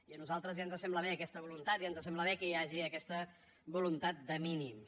i a nosaltres ja ens sembla bé aquesta voluntat ja ens sembla bé que hi hagi aquesta voluntat de mínims